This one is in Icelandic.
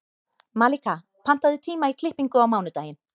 Malika, pantaðu tíma í klippingu á mánudaginn.